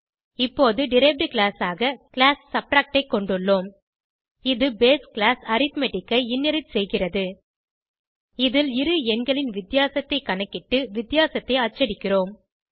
இப்போது derived class ஆக class subtract ஐ கொண்டுள்ளோம் இது பேஸ் கிளாஸ் அரித்மெட்டிக் ஐ இன்ஹெரிட் செய்கிறது இதில் இரு எண்களின் வித்தியாசத்தைக் கணக்கிட்டு வித்தியாசத்தை அச்சடிக்கிறோம்